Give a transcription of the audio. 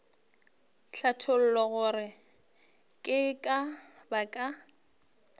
hlatholla gore ke ka baka